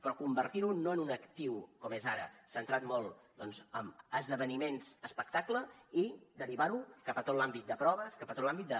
però convertirho no en un actiu com és ara centrat molt doncs en esdeveniments espectacle i derivarho cap a tot l’àmbit de proves cap a tot l’àmbit de